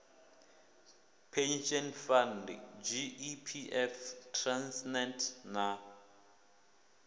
pension fund gepf transnet na